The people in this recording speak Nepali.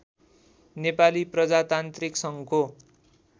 नेपाली प्रजातान्त्रिक सङ्घको